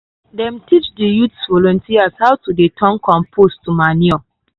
dem teach the youth volunteers how to dey turn compost to manure.